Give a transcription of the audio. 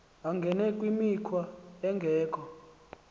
angene kwimikhwa engekho